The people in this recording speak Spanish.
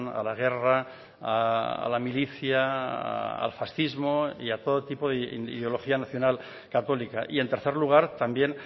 a la guerra a la milicia al fascismo y a todo tipo de ideología nacional católica y en tercer lugar también